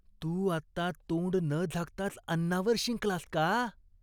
तू आत्ता तोंड न झाकताच अन्नावर शिंकलास का?